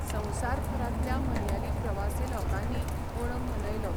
संवसारभरांतल्या मलयाली प्रवासी लोकांनीय ओणम मनयलो.